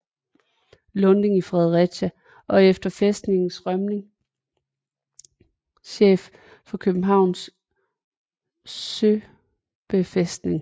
Lunding i Fredericia og efter fæstningens rømning chef for Københavns Søbefæstning